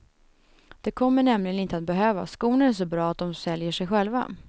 Det kommer nämligen inte att behövas, skorna är så bra att dom säljer sig själva.